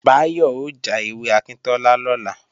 Báyọ̀ ó já ewé akíntọ́lá lọ́la